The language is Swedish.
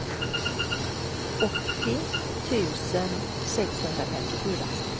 åttio tusen sexhundrafemtiofyra